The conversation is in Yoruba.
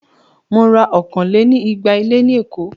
Mo ra okòó-lé-ní-igba ilé ní Èkó.